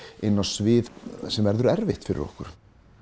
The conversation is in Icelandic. inn á svið sem verður erfitt fyrir okkur